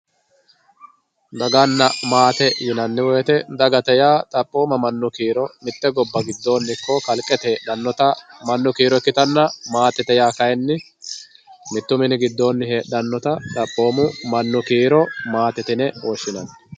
daganna maate yinanni woyiite dagate yaa xaphoomma mannu kiiro mitte gobba giddo heedhannota ikkitanna maatete yaa kayeenni mittu mini giddoonni heedhannota xaphooma mannu kiiro maatete yine woshshinanni